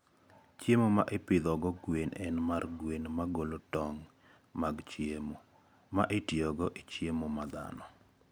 Chiemo ma ipidhogo gwen en mar gwen ma golo tong' mag chiemo (ma itiyogo e chiemo dhano).